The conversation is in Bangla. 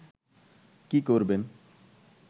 কী করবেন